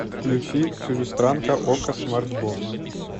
включи чужестранка окко смартбокс